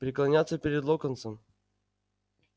преклоняется перед локонсом